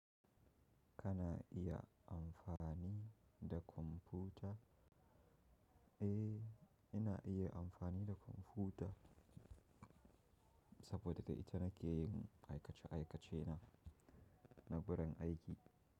Kana iya amfani da kwamfuta? Eh, ina iya amfani da kwamfuta saboda daga ita nake yin aikace aikace na, na birin aiki.